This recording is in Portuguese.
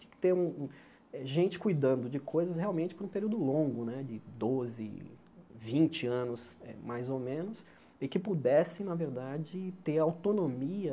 Tinha que ter hum hum gente cuidando de coisas realmente por um período longo né, de doze, vinte anos, eh mais ou menos, e que pudesse, na verdade, ter autonomia